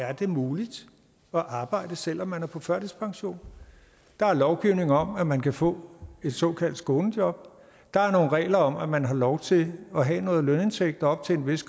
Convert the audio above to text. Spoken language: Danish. er det muligt at arbejde selv om man er på førtidspension der er lovgivning om at man kan få et såkaldt skånejob der er nogle regler om at man har lov til at have noget lønindtægt op til en vis